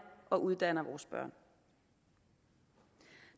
og uddanner vores børn